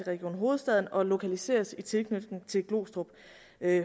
region hovedstaden og at lokaliseres i tilknytning til glostrup